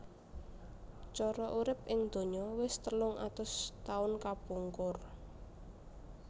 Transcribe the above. Coro urip ing donya wis telung atus taun kapungkur